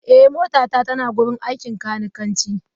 Eh, motata tana wurin aikin kanikanci.